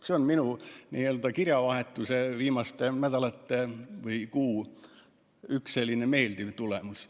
See on minu kirjavahetuse viimaste nädalate või kuu selline meeldiv järeldus.